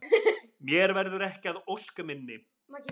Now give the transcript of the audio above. Mér verður ekki að ósk minni.